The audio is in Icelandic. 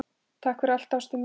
Takk fyrir allt, ástin mín.